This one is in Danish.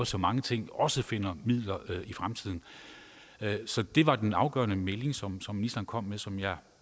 så mange ting også finder midler i fremtiden så det var den afgørende melding som ministeren kom med som jeg